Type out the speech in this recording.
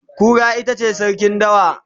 Kura itace sarkin dawa